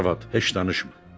Arvad heç danışmır.